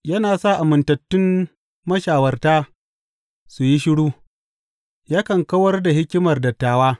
Yana sa amintattun mashawarta su yi shiru yakan kawar da hikimar dattawa.